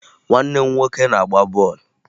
Nwanne m nwoke na-agba ball